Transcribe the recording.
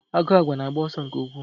Agụ àgwà na-agba ọsọ nke ukwuu.